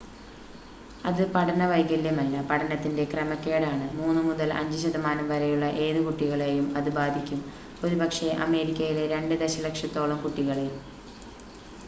"അത് പഠന വൈകല്യമല്ല പഠനത്തിന്റെ ക്രമക്കേടാണ്; 3 മുതൽ 5 ശതമാനം വരെയുള്ള ഏത് കുട്ടികളെയും അത് ബാധിക്കും ഒരുപക്ഷേ അമേരിക്കയിലെ 2 ദശലക്ഷത്തോളം കുട്ടികളെ"".